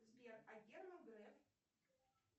сбер а герман греф